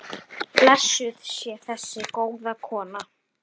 Blessuð sé þessi góða kona.